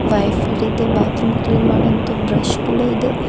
Wiper ಇದೆ bathroom clean ಮಾಡಂತ brush ಕೂಡ ಇದೆ.